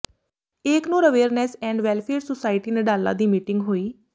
Eknoor awareness and welfare society Nadala ਦੀ meeting ਹੋਈ